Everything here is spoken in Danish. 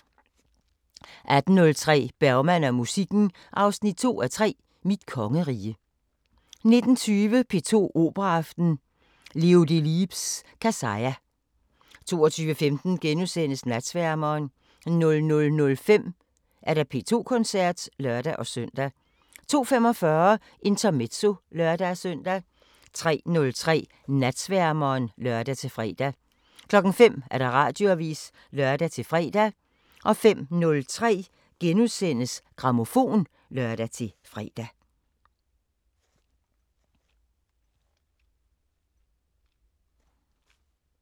18:03: Bergman og musikken 2:3 – Mit kongerige 19:20: P2 Operaaften: Leo Delibes' Kassya 22:15: Natsværmeren * 00:05: P2 Koncerten (lør-søn) 02:45: Intermezzo (lør-søn) 03:03: Natsværmeren (lør-fre) 05:00: Radioavisen (lør-fre) 05:03: Grammofon *(lør-fre)